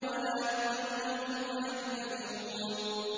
وَلَا يُؤْذَنُ لَهُمْ فَيَعْتَذِرُونَ